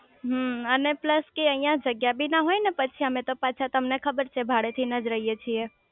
હમમ અને પ્લસ કે અહીંયા જગ્યા બી ના હોય ને પછી અમે તો પાછા તમને ખબર છે ભાડે થઇને જ રહીયે છે